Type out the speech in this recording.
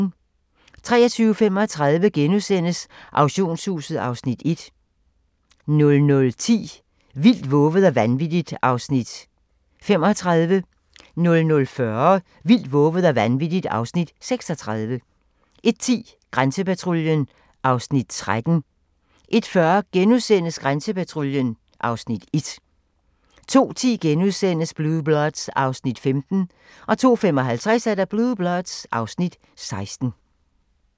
23:35: Auktionshuset (Afs. 1)* 00:10: Vildt, vovet og vanvittigt (Afs. 35) 00:40: Vildt, vovet og vanvittigt (Afs. 36) 01:10: Grænsepatruljen (Afs. 13) 01:40: Grænsepatruljen (Afs. 1)* 02:10: Blue Bloods (Afs. 15)* 02:55: Blue Bloods (Afs. 16)